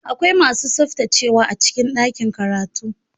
Akwai masu tsaftacewa a cikin ɗakin karatu.